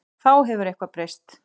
Já, hefur eitthvað breyst?